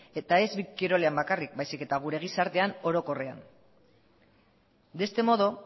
eta ez kirolean bakarrik baizik eta gure gizartean orokorrean de este modo